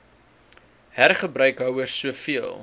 hergebruik houers soveel